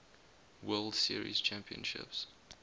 world series championships